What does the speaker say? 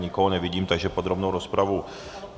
Nikoho nevidím, takže podrobnou rozpravu...